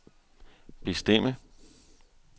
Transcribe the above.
bestemme